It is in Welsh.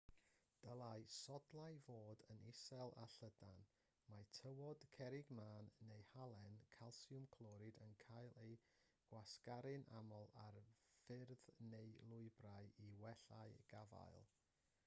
dylai sodlau fod yn isel a llydan. mae tywod cerrig mân neu halen calsiwm clorid yn cael eu gwasgaru'n aml ar ffyrdd neu lwybrau i wella gafael